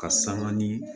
Ka sanga ni